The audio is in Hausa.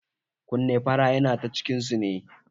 Kunne fara yana ta cikin su ne